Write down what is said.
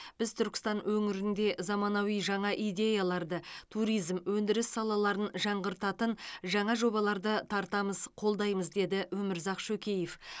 біз түркістан өңірінде заманауи жаңа идеяларды туризм өндіріс салаларын жаңғыртатын жаңа жобаларды тартамыз қолдаймыз деді өмірзақ шөкеев